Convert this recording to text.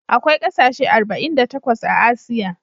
Akwai kasashe arba'in da takwas a Asiya.